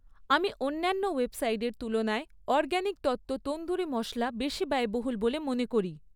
আমি অন্যান্য ওয়েবসাইটের তুলনায় অরগ্যাানিক তত্ত্ব তন্দুরি মশলা বেশি ব্যয়বহুল বলে মনে করি